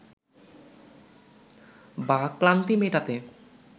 বা ক্লান্তি মেটাতে